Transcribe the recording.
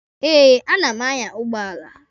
Eh, a na m anya ụgbọala.